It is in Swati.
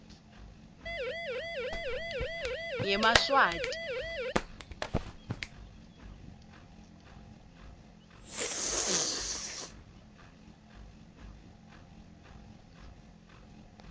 yemaswati